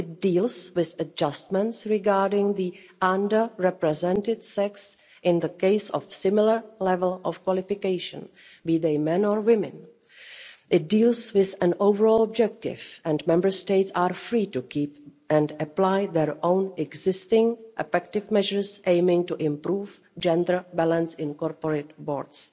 it deals with adjustments regarding the under-represented sex in the case of similar levels of qualification, be they men or women. It deals with an overall objective and Member States are free to keep and apply their own existing effective measures aimed at improving gender balance in corporate boards.